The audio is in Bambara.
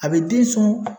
A bɛ den sɔn